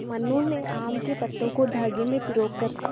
मनु ने आम के पत्तों को धागे में पिरो कर